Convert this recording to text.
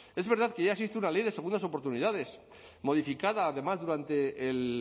es verdad que ya existe una ley de segundas oportunidades modificada además durante el